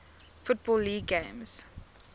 football league games